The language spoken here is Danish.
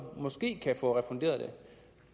måske kan få det refunderet